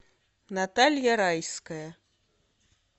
наталья райская